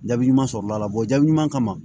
Jaabi ɲuman sɔrɔla la jaabi ɲuman kama